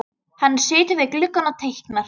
Hann situr við gluggann og teiknar.